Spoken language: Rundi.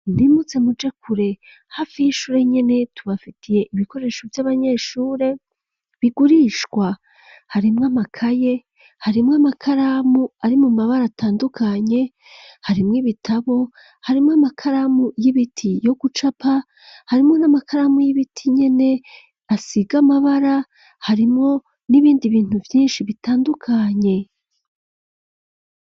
Ntimuze muje kure hafi y'ishure nyene tubafitiye ibikoresho vy'abanyeshure bigurishwa harimwo amakaye harimwo amakaramu ari mu mabara atandukanye harimwo ibitabo harimwo amakaramu y'ibiti yo gucapa harimwo n'amakaramu y'ibiti nyene asiga amabara harimo n'ibindi bintu vyinshi bitandukanye.